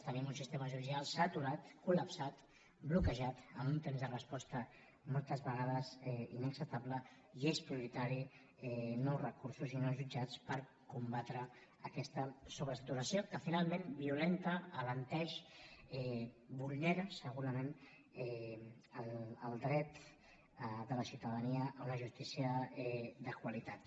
tenim un sistema judicial saturat colde resposta moltes vegades inacceptable i són prioritaris nous recursos i nous jutjats per combatre aquesta sobresaturació que finalment violenta alenteix vulnera segurament el dret de la ciutadania a una justícia de qualitat